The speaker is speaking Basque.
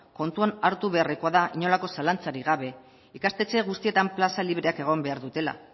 kontuan hartu beharrekoa da inolako zalantzarik gabe ikastetxe guztietan plaza libreak egon behar dutela